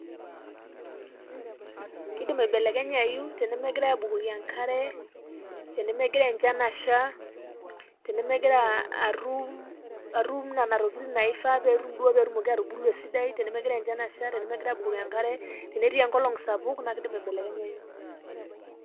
Kidim aibelekenyayu tenemegirai abukoki enkare tenemegira enchan asha ,tenemegira atum nena tokitin naifaa duo petum petumoki atubulu esidai tenegirai abukoki enkare tenetii enkolong sapuk naa kidim aibelekenyayu.